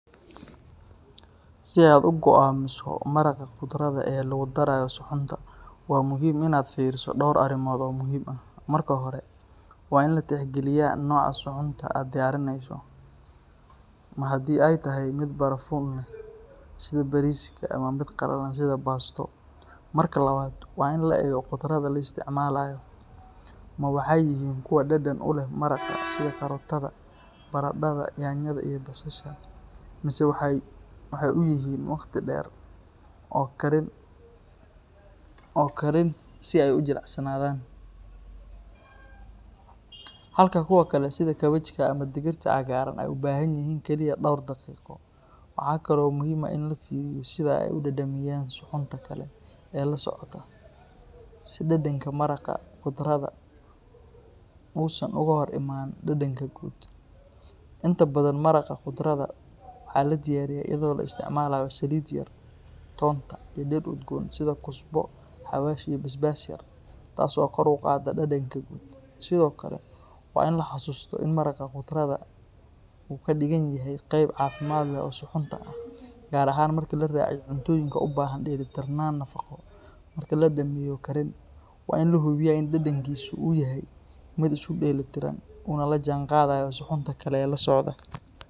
Si aad u go'aamiso maraqa khudradda ee lagu darayo suxuunta, waa muhiim inaad fiiriso dhowr arrimood oo muhiim ah. Marka hore, waa in la tixgeliyaa nooca suxuunta aad diyaarinayso, ma haddii ay tahay mid barafuun leh sida bariiska ama mid qalalan sida baasto. Marka labaad, waa in la eego khudradda la isticmaalayo, ma waxay yihiin kuwo dhadhan u leh maraqa sida karootada, baradhada, yaanyada, iyo basasha mise waxay u baahan yihiin in si gaar ah loo kariyo. Khudradda qaar waxay u baahan yihiin waqti dheer oo karin ah si ay u jilcaan, halka kuwa kale sida kaabajka ama digirta cagaaran ay u baahan yihiin kaliya dhowr daqiiqo. Waxa kale oo muhiim ah in la fiiriyo sida ay u dhadhamiyaan suxuunta kale ee la socota, si dhadhanka maraqa khudradda uusan uga hor iman dhadhanka guud. Inta badan, maraqa khudradda waxaa la diyaariyaa iyadoo la isticmaalayo saliid yar, toonta, iyo dhir udgoon sida kusbo, xawaash, iyo basbaas yar, taas oo kor u qaadda dhadhanka guud. Sidoo kale waa in la xasuusto in maraqa khudradda uu ka dhigan yahay qayb caafimaad leh oo suxuunta ah, gaar ahaan marka la raaciyo cuntooyinka u baahan dheellitirnaan nafaqo. Marka la dhammeeyo karin, waa in la hubiyaa in dhadhankiisu uu yahay mid isku dheeli tiran, uuna la jaanqaadayo suxuunta kale ee la socda.